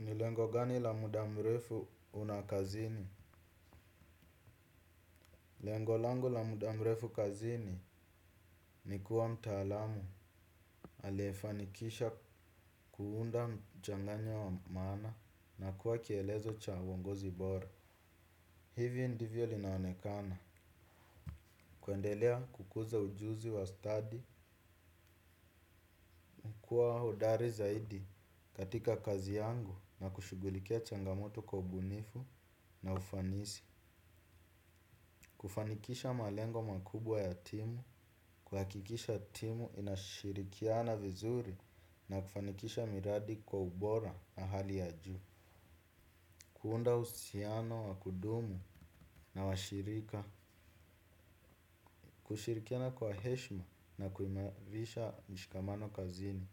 Nilengo gani la mudamrefu una kazini? Lengo langu la mudamrefu kazini ni kuwa mtaalamu. Aliyefanikisha kuunda mchanganyo wa maana na kuwa kielezo cha uongozi bora. Hivyo ndivyo linaonekana. Kuendelea kukuza ujuzi wa ustadi. Kuwa hodari zaidi katika kazi yangu na kushughulikia changamoto kwa ubunifu na ufanisi. Kufanikisha malengo makubwa ya timu, kuhakikisha timu inashirikiana vizuri na kufanikisha miradi kwa ubora na hali ya juu. Kuunda uhusiano wa kudumu na washirika, kushirikiana kwa heshima na kuimarisha mshikamano kazini.